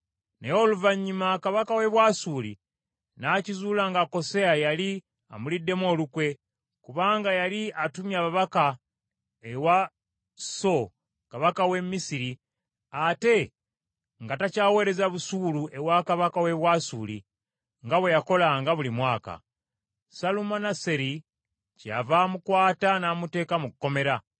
Naye oluvannyuma kabaka w’e Bwasuli n’akizuula nga Koseya yali amuliddemu olukwe, kubanga yali atumye ababaka ewa So kabaka w’e Misiri, ate nga takyaweereza busuulu ewa kabaka w’e Bwasuli, nga bwe yakolanga buli mwaka. Salumaneseri kyeyava amukwata n’amuteeka mu kkomera.